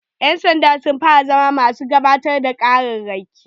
Ƴan sanda sun fara zama masu gabatar da ƙararraki